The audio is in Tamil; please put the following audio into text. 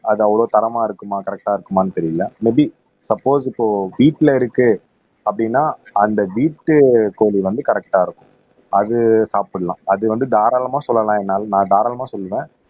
அது அவ்ளோ தரமா இருக்குமா கரெக்ட்டா இருக்குமான்னு தெரியலே மே பி சப்போஸ் இப்போ வீட்டிலே இருக்கு அப்படின்னா அந்த வீட்டுக்கோழி வந்து கரெக்ட்டா இருக்கும் அது சாப்பிடலாம் அது வந்து தாராளமா சொல்லலாம் என்னால நான் தாராளமா சொல்லுவேன்